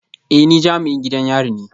Eh ni jami'in gidan yari ne